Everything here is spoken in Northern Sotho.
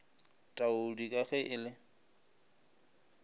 taudi ka ge e le